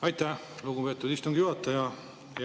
Aitäh, lugupeetud istungi juhataja!